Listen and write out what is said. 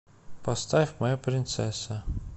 поставь моя принцесса